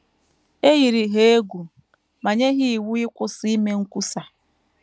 E yiri ha egwu ma nye ha iwu ịkwụsị ime nkwusa.